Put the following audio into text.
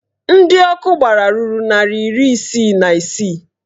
Ndị ọkụ gbara dị narị iri isii na isii